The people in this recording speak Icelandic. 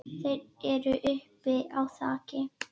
Þeir eru uppi á þaki.